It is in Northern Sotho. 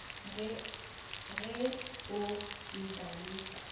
ge o e ba le